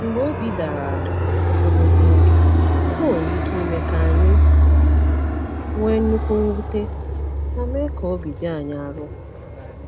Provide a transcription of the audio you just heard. Mgbe obi dara ada ogologo oge, ọ nwere ike ime ka anyị nwee nnukwu mwute ma mee ka obi dị anyị arọ.